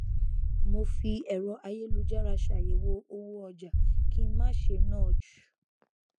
mo fi ẹrọ ayélujára ṣàyẹwò owó ọjà kí n má ṣe ná ju